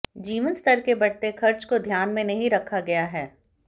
जीवन स्तर के बढ़ते खर्च को ध्यान में नहीं रखा गया है